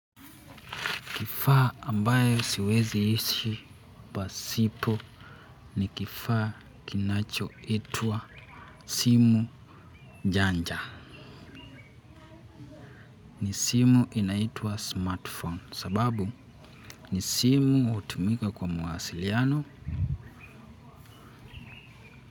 Kifaa ambayo siwezi ishi pasipo ni kifaa kinachoitwa simu janja. Ni simu inaitwa smartphone sababu ni simu hutumika kwa mawasiliano.